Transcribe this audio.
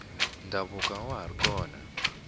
ndhavuko awa hari kona